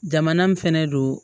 Jamana min fɛnɛ don